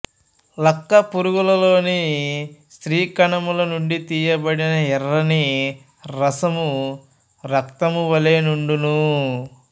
లక్క పురుగులలోని స్త్రీ కణములనుండి తీయబడిన ఎర్రని రసము రక్తమువలె నుండును